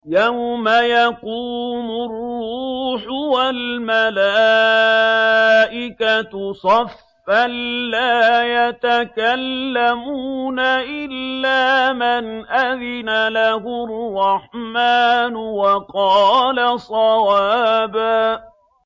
يَوْمَ يَقُومُ الرُّوحُ وَالْمَلَائِكَةُ صَفًّا ۖ لَّا يَتَكَلَّمُونَ إِلَّا مَنْ أَذِنَ لَهُ الرَّحْمَٰنُ وَقَالَ صَوَابًا